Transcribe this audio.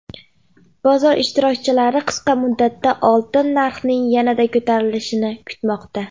Bozor ishtirokchilari qisqa muddatda oltin narxining yanada ko‘tarilishini kutmoqda.